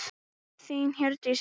Þín, Hjördís Rut.